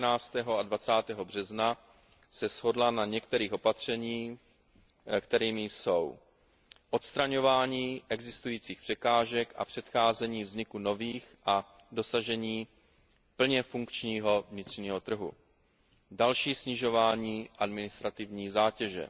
20. března shodla na některých opatřeních, kterými jsou odstraňování existujících překážek a předcházení vzniku nových a dosažení plně funkčního vnitřního trhu, další snižování administrativní zátěže,